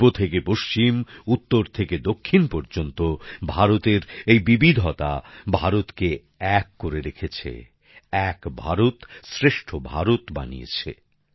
পূর্ব থেকে পশ্চিম উত্তর থেকে দক্ষিণ পর্যন্ত ভারতের এই বিবিধতা ভারতকে এক করে রেখেছে এক ভারতশ্রেষ্ঠ ভারত বানিয়েছে